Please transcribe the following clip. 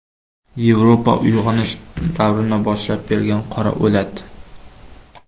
Yevropa uyg‘onish davrini boshlab bergan qora o‘lat.